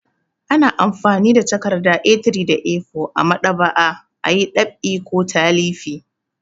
Ana amfani da takarda A3 da A4 a maɗ'aba'a a yi ɗab'i ko talifi.